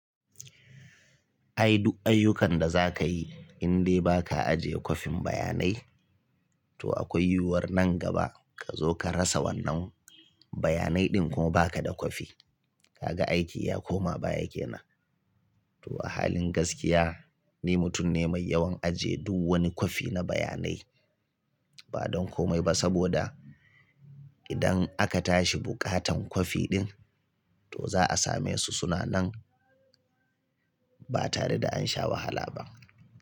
Ai duk ayyukan da za ka yi in de ba ka ajiye kwafin bayanai, to akwai yiwuwar nan gaba ka zo ka rasa wannan bayanai ɗin ko ba ka da kwafi. Kaga aiki ya koma baya kenan. To a halin gaskiya, ni mutum ne mai yawan ajiye du wani kwafi na bayanai, ba don komai ba saboda idan aka tashi bukatan kwafi ɗin, to za a same su suna nan ba tare da an sha wahala ba.